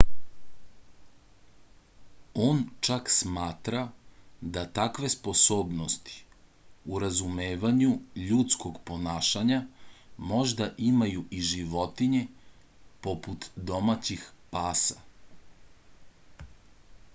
on čak smatra da takve sposobnosti u razumevanju ljudskog ponašanja možda imaju i životinje poput domaćih pasa